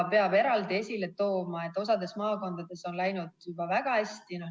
Peab eraldi esile tooma, et osas maakondades on läinud juba väga hästi.